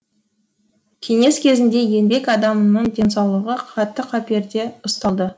кеңес кезінде еңбек адамының денсаулығы қатты қаперде ұсталды